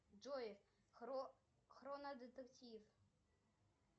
джой хроно детектив